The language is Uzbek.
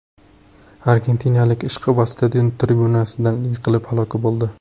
Argentinalik ishqiboz stadion tribunasidan yiqilib halok bo‘ldi.